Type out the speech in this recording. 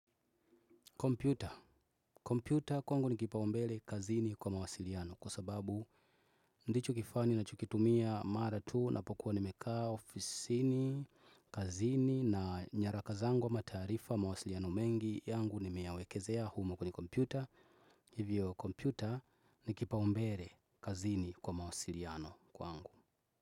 Kompyuta. Kompyuta kwangu nikipaumbele kazini kwa mawasiliano kwa sababu ndicho kifaa ninachokitumia mara tu napokuwa nimekaa ofisini, kazini na nyaraka zangu ama tarifa mawasiliano mengi yangu nimeyawekezea humo kwenye kompyuta. Hivyo kompyuta nikipaumbele kazini kwa mawasiliano kwangu.